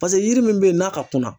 Paseke yiri min bɛ yen n'a ka kunna.